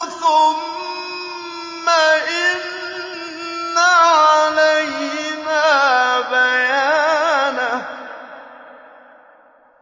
ثُمَّ إِنَّ عَلَيْنَا بَيَانَهُ